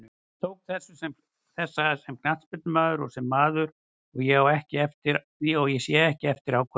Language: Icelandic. Ég tók þessa sem knattspyrnumaður og sem maður, og ég sé ekki eftir ákvörðuninni.